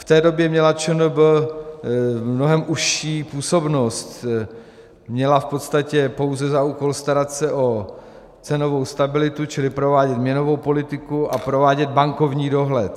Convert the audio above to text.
V té době měla ČNB mnohem užší působnost, měla v podstatě pouze za úkol starat se o cenovou stabilitu, čili provádět měnovou politiku a provádět bankovní dohled.